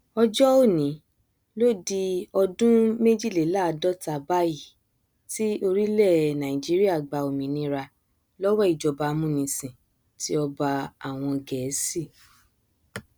ọjọ òní ló di ọdún méjìléláàádọta báyìí tí orílẹ nàìjíríà gba òmìnira lọwọ ìjọba amúnisìn ti ọba àwọn gẹẹsì